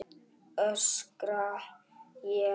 öskra ég.